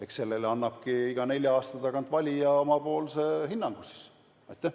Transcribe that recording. Eks sellele annabki oma hinnangu valija, iga nelja aasta tagant.